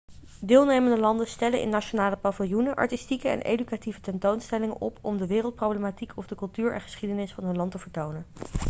deelnemende landen stellen in nationale paviljoenen artistieke en educatieve tentoonstellingen op om de wereldproblematiek of de cultuur en geschiedenis van hun land te vertonen